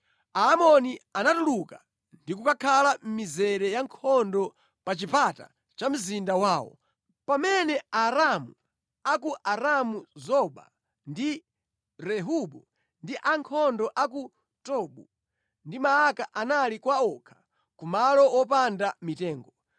Aamoni anatuluka ndi kukhala mʼmizere ya nkhondo pa chipata cha mzinda wawo, pamene Aaramu a ku Aramu-Zoba ndi Rehobu ndi ankhondo a ku Tobu ndi Maaka anali kwa wokha ku malo wopanda mitengo.